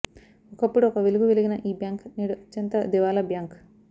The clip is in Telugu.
ఒకప్పుడు ఒక వెలుగు వెలిగిన ఈ బ్యాంక్ నేడు అత్యంత దివాళా బ్యాంక్